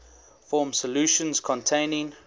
form solutions containing